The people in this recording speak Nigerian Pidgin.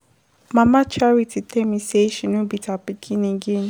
Mama charity tell me say she no beat her pikin again.